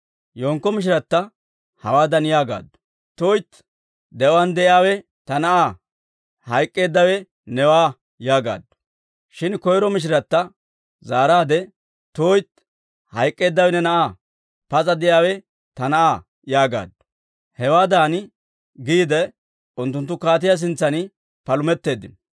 Yenkko mishiratta hawaadan yaagaaddu; «tuytti! de'uwaan de'iyaawe ta na'aa; hayk'k'eeddawe newaa» yaagaaddu. Shin koyro mishiratta zaaraadde, «tuytti, hayk'k'eeddawe ne na'aa; pas'a de'iyaawe ta na'aa» yaagaaddu. Hewaadan giide unttunttu kaatiyaa sintsan palumetteeddino.